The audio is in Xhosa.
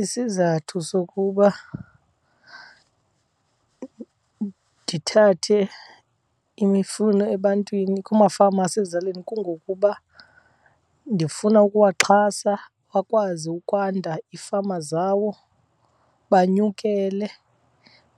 Isizathu sokuba ndithathe imifuno ebantwini kumafama asezilalini kungokuba ndifuna ukuwaxhasa akwazi ukwanda iifama zawo, banyukele